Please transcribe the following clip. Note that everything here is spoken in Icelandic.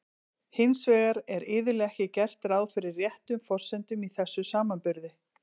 Hins vegar er iðulega ekki gert ráð fyrir réttum forsendum í þessum samanburði.